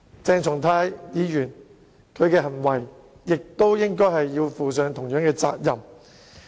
鄭松泰議員亦同樣應為他的行為付上責任。